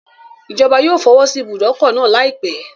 Ìjọba yóò fọwọ́sí ìbùdókọ̀ náà láìpẹ́.